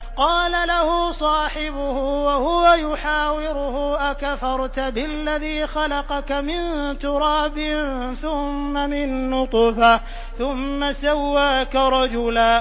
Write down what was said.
قَالَ لَهُ صَاحِبُهُ وَهُوَ يُحَاوِرُهُ أَكَفَرْتَ بِالَّذِي خَلَقَكَ مِن تُرَابٍ ثُمَّ مِن نُّطْفَةٍ ثُمَّ سَوَّاكَ رَجُلًا